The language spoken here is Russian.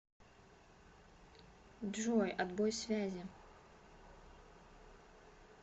джой отбой связи